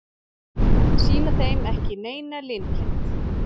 Sýna þeim ekki neina linkind.